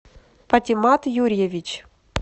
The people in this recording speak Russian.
патимат юрьевич